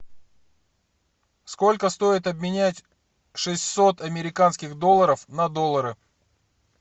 сколько стоит обменять шестьсот американских долларов на доллары